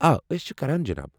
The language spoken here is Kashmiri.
آ، أسۍ چھِ کران جناب۔